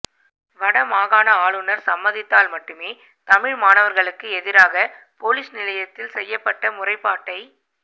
வடமாகாண ஆளுநர் சம்மதித்தால் மட்டுமே தமிழ் மாணவர்களுக்கு எதிராக பொலிஸ் நிலையத்தில் செய்யப்பட்ட முறைப்பாட்டை